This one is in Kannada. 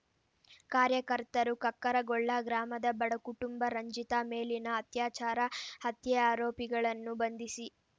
ಕಾರ್ಯಕರ್ತರು ಕಕ್ಕರಗೊಳ್ಳ ಗ್ರಾಮದ ಬಡ ಕುಟುಂಬ ರಂಜಿತಾ ಮೇಲಿನ ಅತ್ಯಾಚಾರ ಹತ್ಯೆ ಆರೋಪಿಗಳನ್ನು ಬಂಧಿಸಿ